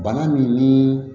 Bana min ni